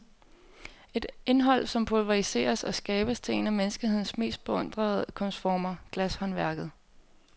Et indhold som pulveriseres og skabes til en af menneskehedens mest beundrede kunstformer, glashåndværket.